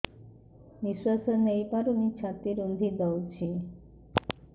ନିଶ୍ୱାସ ନେଇପାରୁନି ଛାତି ରୁନ୍ଧି ଦଉଛି